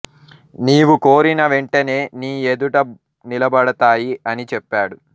నీవు కోరిన వెంటనే నీ ఎదుట నిలబడతాయి అని చెప్పాడు